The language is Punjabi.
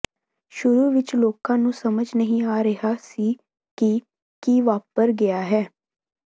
ਸ਼ੁਰੂ ਵਿਚ ਲੋਕਾਂ ਨੂੰ ਸਮਝ ਨਹੀਂ ਆ ਰਿਹਾ ਸੀ ਕਿ ਕੀ ਵਾਪਰ ਗਿਆ ਹੈ